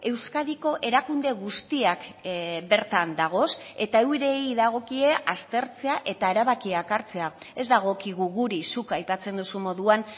euskadiko erakunde guztiak bertan dagoz eta eurei dagokie aztertzea eta erabakiak hartzea ez dagokigu guri zuk aipatzen duzun moduan